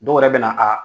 Dɔw yɛrɛ bɛ na a